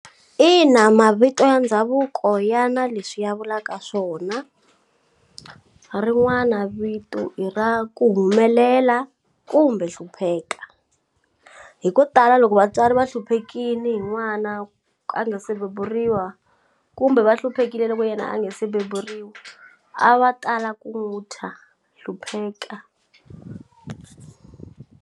Ina mavito ya ndhavuko ya na leswi ya vulaka swona rin'wana vito i ra ku humelela kumbe hlupheka hi ko tala loko va vatswari va hluphekini hi n'wana a nga se beburiwa kumbe va hluphekile loko yena a nge se beburiwa a va tala ku n'wu thya hlupheka.